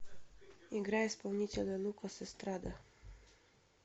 играй исполнителя лукас эстрада